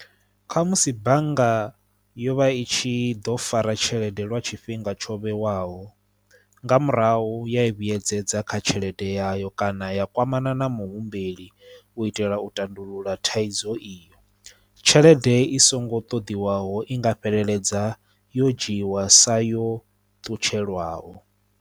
Kha musi bannga yo vha i tshi ḓo fara tshelede lwa tshifhinga tsho vhewaho nga murahu ya i vhuyedzedza kha tshelede yayo kana ya kwamana na muhumbeli u itela u tandulula thaidzo iyo tshelede i songo ṱoḓiwaho i nga fheleledza yo dzhiwa sa yo ṱutshela lwaho.